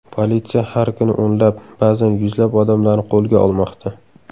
Politsiya har kuni o‘nlab, ba’zan yuzlab odamlarni qo‘lga olmoqda.